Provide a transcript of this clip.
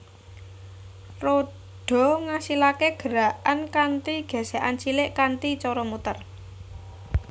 Rodha ngasilaké gerakan kanthi gesekan cilik kanthi cara muter